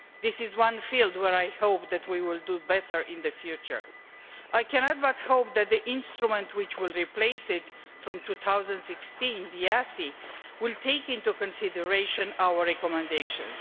This is one field in which I hope that we will do better in the future. I cannot but hope that the instrument which will replace it from 2016, EaSI, will take into consideration our recommendations.